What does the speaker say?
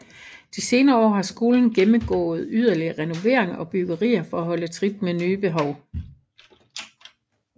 De senere år har skolen gennemgået yderligere renoveringer og byggerier for at holde trit med nye behov